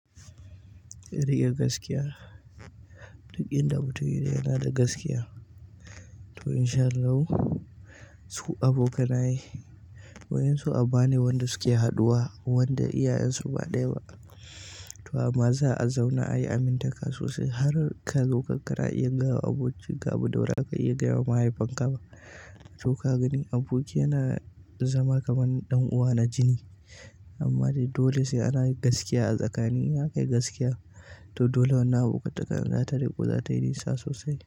Riƙe gaskiya. Duk inda mutum yaje in yana da gaskiya to in sha Allah su abokanaye wa'insu aba ne wanda suke haɗuwa, wanda iyayensu ba ɗaya ba. To amma za a zauna ayi amintaka sosai har ka zo kana iya gaya wa abokin ka abinda ba za ka iya gaya wa mahaifinka ba. To ka gani aboki yana zama kaman ɗan'uwa na jini amma dai dole sai ana yin gaskiya a tsakani. Za kai gaskiya to dole wannan abokantaka za tai riƙo za ta yi nisa sosai.